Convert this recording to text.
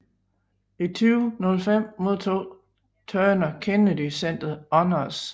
I 2005 modtog Turner Kennedy Center Honors